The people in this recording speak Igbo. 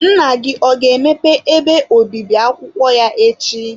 Nna gị ọ ga-emepe ebe obibi akwụkwọ ya echi?